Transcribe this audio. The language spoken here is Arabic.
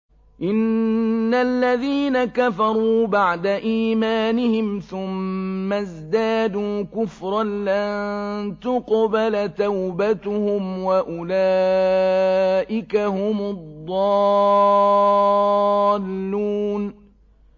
إِنَّ الَّذِينَ كَفَرُوا بَعْدَ إِيمَانِهِمْ ثُمَّ ازْدَادُوا كُفْرًا لَّن تُقْبَلَ تَوْبَتُهُمْ وَأُولَٰئِكَ هُمُ الضَّالُّونَ